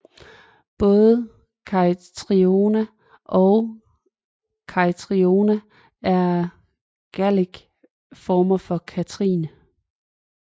Både Caitriona og Caitriona er Gaelic former for Kathrine